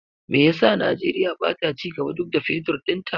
Me yasa Najeriya bata cigaba duk da Fetur ɗinta?